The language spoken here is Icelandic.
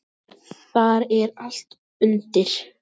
Þar er allt undir.